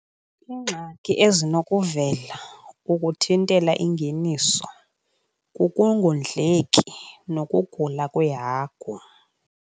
Iingxaki ezinokuvela ukuthintela ingeniso kukungondleki nokugula kweehagu.